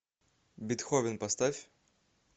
бетховен поставь